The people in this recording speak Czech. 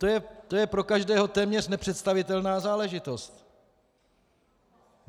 To je pro každého téměř nepředstavitelná záležitost.